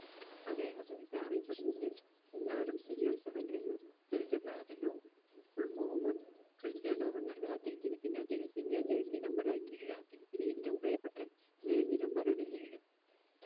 അതെ അദ്ദേഹത്തെ അറിയപ്പെടുന്നത് എല്ലാവരും CR7 എന്ന ചുരുക്കപ്പേരാ പിന്നെ full form ക്രിസ്റ്റ്യാനോ റൊണാൾഡോ അദ്ദേഹത്തിൻറെ പിന്നെ അദ്ദേഹത്തിൻറെ jersey number ആക്കി ഏഴാ അദ്ദേഹത്തിന് ഏറ്റവും പ്രിയപ്പെട്ട jersey number ആണ് ഏഴ്